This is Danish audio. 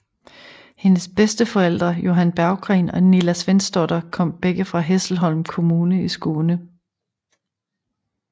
Hendes bedsteforældre Johan Berggren og Nilla Svensdotter kom begge fra Hässleholm kommun i Skåne